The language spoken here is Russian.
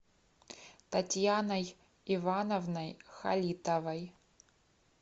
татьяной ивановной халитовой